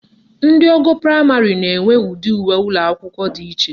Ndị ogo praịmarị na-enwe ụdị uwe ụlọakwụkwọ iche